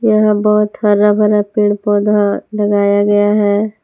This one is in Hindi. यहां बहोत हर भरा पेड़ पौधा लगाया गया है।